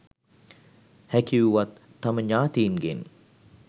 හැකි වුවත් තම ඥාතීන්ගෙන්